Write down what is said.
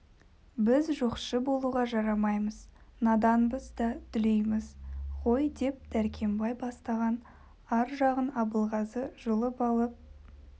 біз жоқшы болуға жарамаймыз наданбыз да дүлейміз ғой деп дәркембай бастаған ар жағын абылғазы жұлып алып